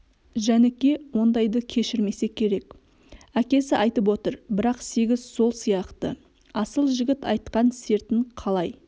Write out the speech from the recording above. жәніке ондайды кешірмесе керек әкесі айтып отыр бірақ сегіз сол сияқты асыл жігіт айтқан сертін қалай